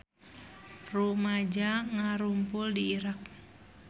Rumaja ngarumpul di Irak